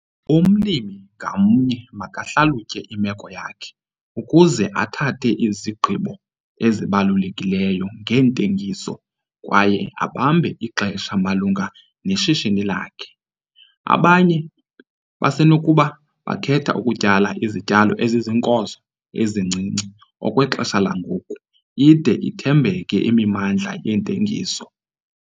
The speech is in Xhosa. Umlimi ngamnye makahlalutye imeko yakhe ukuze athathe izigqibo ezibalulekileyo ngentengiso kwaye abambe ixesha malunga neshishini lakhe. Abanye basenokuba bakhethe ukutyala izityalo eziziinkozo ezincinci okwexesha langoku ide ithembeke imimandla yentengiso.